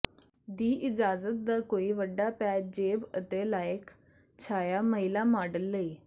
ਦੀ ਇਜਾਜ਼ਤ ਦਾ ਕੋਈ ਵੱਡਾ ਪੈਚ ਜੇਬ ਅਤੇ ਲਾਇਕ ਛਾਇਆ ਮਹਿਲਾ ਮਾਡਲ ਲਈ